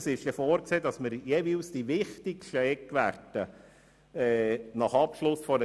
Es ist vorgesehen, dass wir die wichtigsten Eckwerte erfahren.